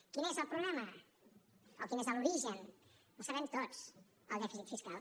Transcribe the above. quin és el problema o quin és l’origen el sabem tots el dèficit fiscal